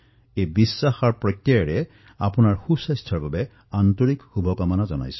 এই বিশ্বাসৰ সৈতে আপোনালোকৰ উত্তম স্বাস্থ্যৰ বাবে মই শুভেচ্ছা জনাইছো